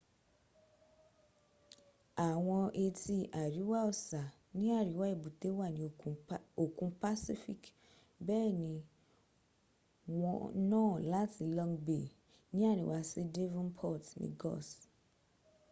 awọn etí àríwá ọ̀sà ní àríwá èbútéwà ni òkun pacific bẹ́ẹ̀ ni wọ́n nà á láti long bay ní àríwá sí devonport ni gús